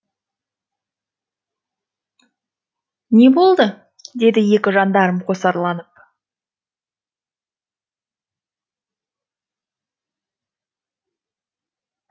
не болды деді екі жандарм қосарланып